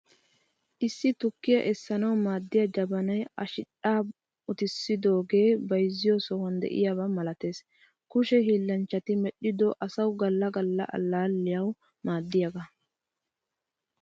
Issi tukkiya essanawu maaddiya jabanaay a shidhdhan uttisidoge bayzziyo sohuwan de'iayaba milattees. Kushe hillanchchati medhdhido asawu galla galla allaliyawu maadiyaga.